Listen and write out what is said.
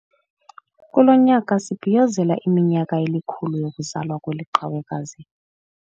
Kulo nyaka sibhiyozela iminyaka elikhulu yokuzalwa kweli qhawekazi.